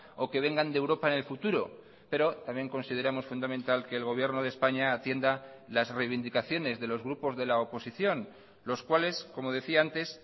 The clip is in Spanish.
o que vengan de europa en el futuro pero también consideramos fundamental que el gobierno de españa atienda las reivindicaciones de los grupos de la oposición los cuales como decía antes